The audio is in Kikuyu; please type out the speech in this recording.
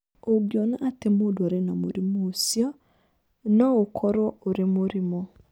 Ũngĩona atĩ nĩ mũrimũ ũcio, no ũkorũo ũrĩ mũrimũ.